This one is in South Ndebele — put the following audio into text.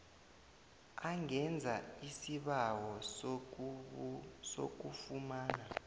angenza isibawo sokufumana